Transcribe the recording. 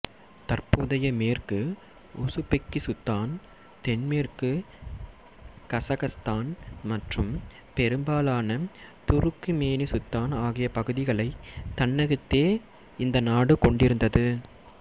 தற்போதைய மேற்கு உசுப்பெக்கிசுத்தான் தென்மேற்கு கசக்கஸ்தான் மற்றும் பெரும்பாலான துருக்குமேனிசுத்தான் ஆகிய பகுதிகளைத் தன்னகத்தே இந்த நாடு கொண்டிருந்தது